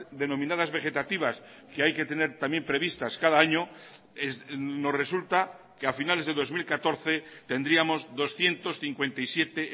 denominadas vegetativas que hay que tener también previstas cada año nos resulta que a finales de dos mil catorce tendríamos doscientos cincuenta y siete